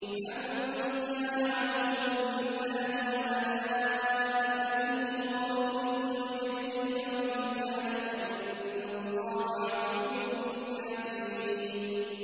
مَن كَانَ عَدُوًّا لِّلَّهِ وَمَلَائِكَتِهِ وَرُسُلِهِ وَجِبْرِيلَ وَمِيكَالَ فَإِنَّ اللَّهَ عَدُوٌّ لِّلْكَافِرِينَ